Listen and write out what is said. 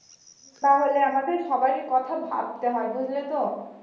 তাহলে আমাদের সবারই কথা ভাবতে হয় বুঝলে তো